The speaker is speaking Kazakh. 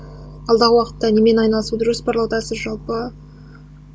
алдағы уақытта немен айналысуды жоспарлаудасыз жалпы